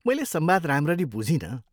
मैले संवाद राम्ररी बुझिनँ।